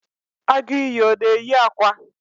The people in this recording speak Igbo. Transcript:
Agu iyi ọ na-eyi akwa?